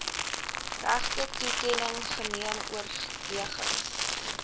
regtetoekenning geneem oorwegings